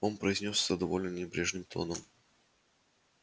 он произнёс это довольно небрежным тоном